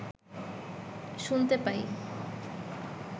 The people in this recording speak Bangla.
শুনতে পাই